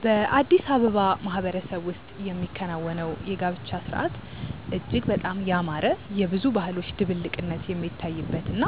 በአዲስ አበባ ማህበረሰብ ውስጥ የሚከናወነው የጋብቻ ሥርዓት እጅግ በጣም ያማረ፣ የብዙ ባህሎች ድብልቅነት የሚታይበት እና